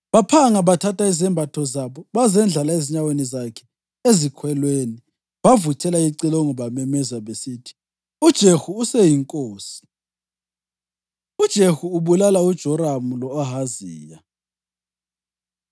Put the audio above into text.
Baphanga bathatha izembatho zabo bazendlala ezinyaweni zakhe ezikhwelweni. Bavuthela icilongo bamemeza besithi, “UJehu useyinkosi!” UJehu Ubulala UJoramu Lo-Ahaziya